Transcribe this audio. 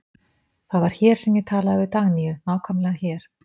Það var hér sem ég talaði við Dagnýju, nákvæmlega hér.